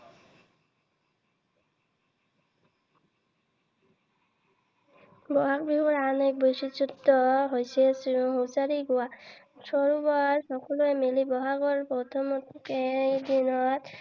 বহাগ বিহুৰ আন এক বিশেষত্ব হৈছে হুচৰি গোৱা। সকলোৱে মিলি বহাগৰ প্ৰথমকেইদিন